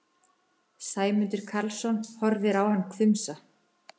Sæmundur Karlsson horfir á hann hvumsa.